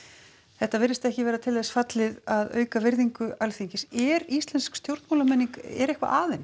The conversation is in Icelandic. þetta virðist ekki til þess fallið að auka virðingu Alþingis er íslensk stjórnmálamenning er eitthvað að henni